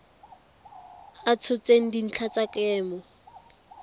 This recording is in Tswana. a tshotseng dintlha tsa kemo